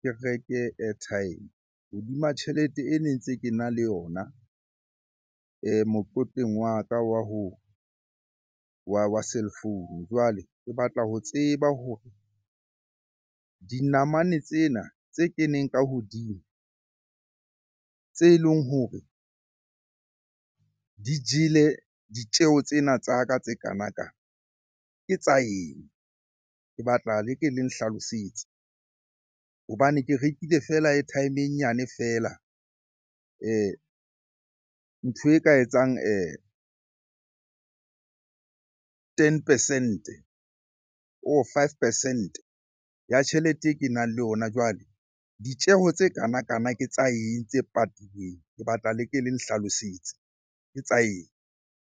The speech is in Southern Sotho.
ke reke airtime hodima tjhelete e ne ntse ke na le yona mokotleng wa ka wa ho, wa cellphone. Jwale ke batla ho tseba hore dinamane tsena tse keneng ka hodimo, tse leng hore di jele ditjeho tsena tsa ka tse kanakana ke tsa eng? Ke batla le ke le nhlalosetse hobane ke rekile feela airtime e nyane feela ntho e ka etsang ten percent-e or five percent-e ya tjhelete e ke nang le ona. Jwale ditjeho tse kanakana ke tsa eng tse patilweng? Ke batla le ke le nhlalosetse, ke tsa eng?